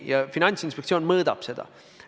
Ja Finantsinspektsioon mõõdab seda.